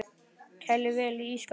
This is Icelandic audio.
Kælið vel í ísskáp.